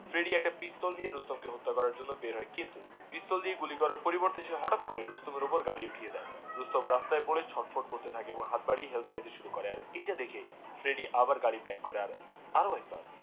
Freddie একটা পিস্তল দিয়ে রুস্তম কে হত্যা করার জন্যে বেরোয়, কিন্তু পিস্তল দিয়ে গুলি করার পরিবর্তে, সে রুস্তমের ওপর গাড়ি চাপিয়ে দেয়, রুস্তম রাস্তায় পরে ছটফট করতে থাকে এবং হাত বাড়িয়ে হেল্প চাইতে শুরু করে আর এইটা দেখে ফ্রেডি আবার গাড়ি ব্যাক আরোও একবার